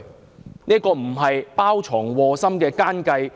這難道不是包藏禍心的奸計？